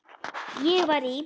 Ég var í